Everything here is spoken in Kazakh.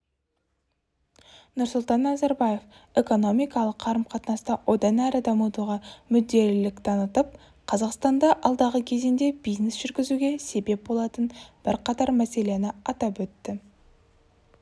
нұрсұлтан назарбаев экономикалық қарым-қатынасты одан әрі дамытуға мүдделілік танытып қазақстанда алдағы кезеңде бизнес жүргізуге себеп болатын бірқатар мәселені атап өтті